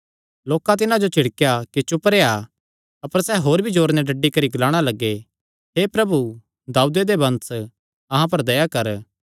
लोकां तिन्हां जो झिड़केया कि चुप रेह्आ अपर सैह़ होर भी जोरे नैं डड्डी करी ग्लाणा लग्गे हे प्रभु दाऊदे दे वंश अहां पर दया कर